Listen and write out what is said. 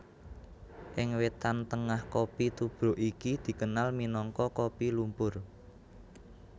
Ing Wétan Tengah kopi tubruk iki dikenal minangka kopi lumpur